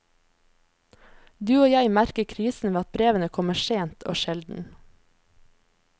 Du og jeg merker krisen ved at brevene kommer sent og sjelden.